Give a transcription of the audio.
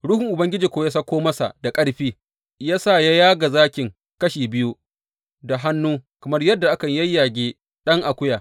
Ruhun Ubangiji kuwa ya sauko masa da ƙarfi, ya sa ya yaga zakin kashi biyu da hannu kamar yadda akan yayyage ɗan akuya.